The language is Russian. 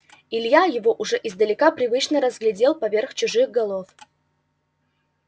илья его уже издалека привычно разглядел поверх чужих голов